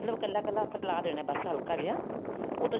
ਕੱਲਾ ਕੱਲਾ ਹਿਲਾ ਦੇਣਾ ਬਸ ਹਲਕਾ ਜਾ ਉਹ